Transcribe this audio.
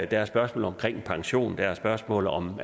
der er spørgsmålet om pension der er spørgsmålet om